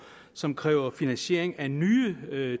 som kræver finansiering af nye